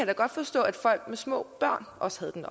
da godt forstå at folk med små børn også havde den